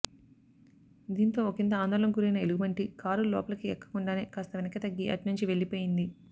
దీంతో ఒకింత ఆందోళనకు గురైన ఎలుగుబంటి కారు లోపలికి ఎక్కకుండానే కాస్త వెనక్కి తగ్గి అట్నుంచి వెళ్లిపోయింది